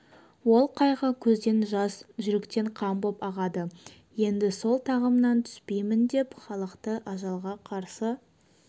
ол қайғы көзден жас жүректен қан боп ағады енді сол тағымнан түспеймін деп халықты ажалға қарсы